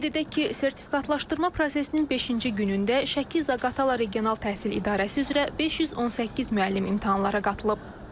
Qeyd edək ki, sertifikatlaşdırma prosesinin beşinci günündə Şəki Zaqatala Regional Təhsil İdarəsi üzrə 518 müəllim imtahanlara qatılıb.